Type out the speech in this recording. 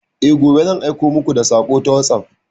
E, gobe zan aiko muku da sako ta wasop.